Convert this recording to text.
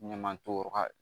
Ɲaman to yɔrɔ ka